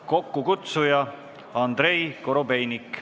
Kokkukutsuja on Andrei Korobeinik.